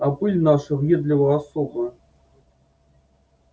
а пыль наша въедлива особо